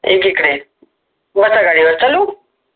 एक इकडे बसा गाडीवर चालू